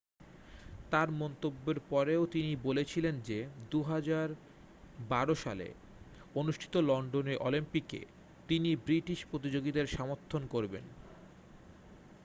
তার মন্তব্যের পরেও তিনি বলেছিলেন যে 2012 সালে অনুষ্ঠিত লন্ডনে অলিম্পিকে তিনি ব্রিটিশ প্রতিযোগীদের সমর্থন করবেন